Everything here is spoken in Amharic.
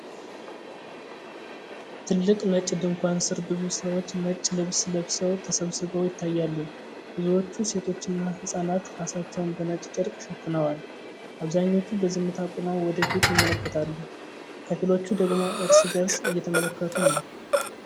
ትልቅ ነጭ ድንኳን ስር ብዙ ሰዎች ነጭ ልብስ ለብሰው ተሰብስበው ይታያሉ። ብዙዎቹ ሴቶችና ህጻናት ራሳቸውን በነጭ ጨርቅ ሸፍነዋል። አብዛኞቹ በዝምታ ቆመው ወደ ፊት ይመለከታሉ፤ ከፊሎቹ ደግሞ እርስ በእርስ እየተመለከቱ ነው።